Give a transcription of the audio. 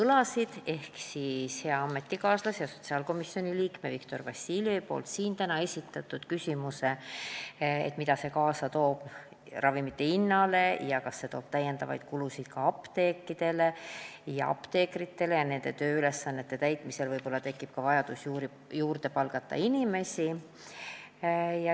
Näiteks, hea ametikaaslase ja sotsiaalkomisjoni liikme Viktor Vassiljevi täna esitatud küsimus, mida see toob kaasa ravimite hinnale ja kas see tekitab lisakulusid ka apteekidele ja apteekritele ning kas nende tööülesannete täitmiseks tekib vajadus inimesi juurde palgata.